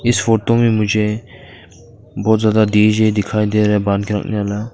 इस फोटो में मुझे बहुत ज्यादा डी_जे दिखाई दे रहा है रखने वाला।